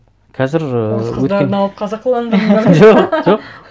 қазір ііі орыс қыздарын алып қазақыландырыңдар